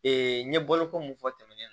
n ye boloko mun fɔ tɛmɛnen